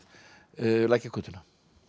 Lækjargötuna